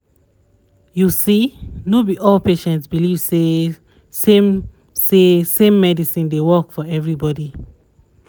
you see no b all patients believe say same say same medicine dey work for everybody